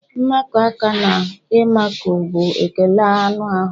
Mmakọ aka na ịmakụ bụ ekele anụ ahụ.